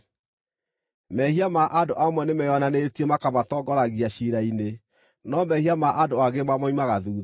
Mehia ma andũ amwe nĩmeyonanĩtie, makamatongoragia ciira-inĩ no mehia ma andũ angĩ mamoimaga thuutha.